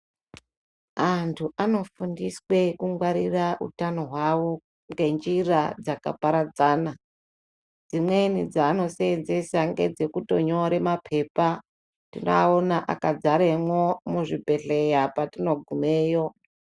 Antu anofundiswe kungwarira utano hwavo ngenjira dzakaparadzana. Dzimweni dzaanoseenzesa ngedzekutonyore mapepa , tinoaona akadzaremo muzvibhedhleya patinogumeyo.